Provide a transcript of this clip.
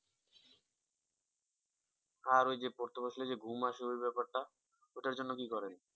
আর ওই যে পড়তে বসলে যে ঘুম আসে ওই ব্যাপারটা? ওটার জন্য কি করা যায়?